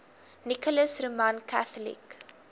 nicholas roman catholic